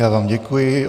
Já vám děkuji.